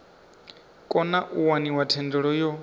kona u waniwa thendelo yo